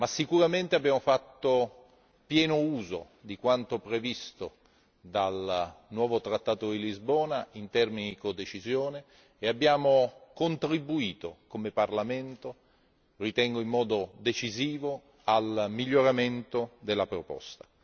Sicuramente abbiamo fatto pieno uso di quanto previsto dal nuovo Trattato di Lisbona in termini di codecisione contribuendo come Parlamento, ritengo in modo decisivo, al miglioramento della proposta.